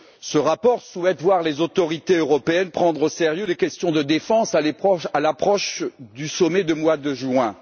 Ce rapport souhaite voir les autorités européennes prendre au sérieux les questions de défense à l'approche du sommet du mois de juin.